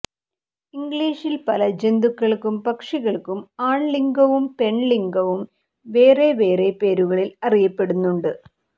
ഇംഗ്ലീഷിൽ പല ജന്തുക്കൾക്കും പക്ഷികൾക്കും ആൺലിംഗവും പെൺലിംഗവും വേറെവേറെ പേരുകളിൽ അറിയപ്പെടുന്നുണ്ട്